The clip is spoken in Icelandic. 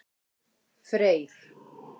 Freyr